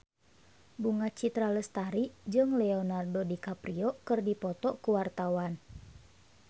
Bunga Citra Lestari jeung Leonardo DiCaprio keur dipoto ku wartawan